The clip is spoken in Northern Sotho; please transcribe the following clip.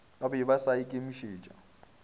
ba be ba sa ikemišetša